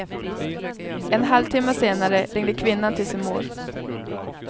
En halvtimma senare ringde kvinnan till sin mor.